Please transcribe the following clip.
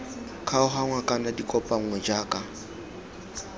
kgaoganngwa kana di kopanngwe jaaka